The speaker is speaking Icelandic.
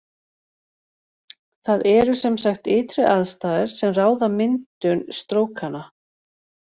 Það eru sem sagt ytri aðstæður sem ráða myndun strókanna.